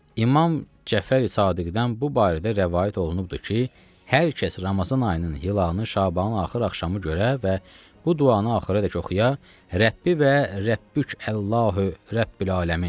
İmam Cəfəri Sadiqdan bu barədə rəvayət olunubdur ki, hər kəs Ramazan ayının hilalını Şabanın axır axşamı görə və bu duanı axıradək oxuya, Rəbbi və Rəbbük Allah Rəbbül aləmin.